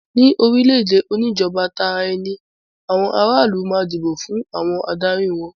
Ní orílẹ̀-èdè oníjọba Tara-ẹni àwọn aráàlú máa ń dìbò fún àwọn adarí wọn.